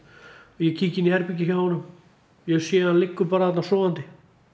ég kíki inn í herbergi hjá honum ég sé hann liggur bara þarna sofandi